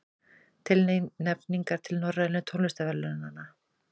Tilnefningar til Norrænu tónlistarverðlaunanna